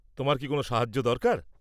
তোমার কি কোনও সাহায্য দরকার?